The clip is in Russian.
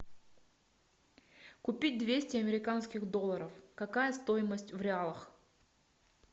купить двести американских долларов какая стоимость в реалах